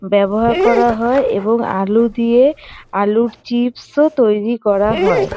ব্যবহার করা হয় এবং আলু দিয়ে আলুর চিপস -ও তৈরি করা হয়।